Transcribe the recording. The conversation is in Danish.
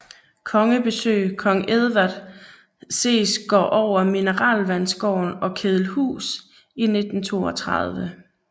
Kongebesøg kong Edward ses går over mineralvandsgården og kedelhus i 1932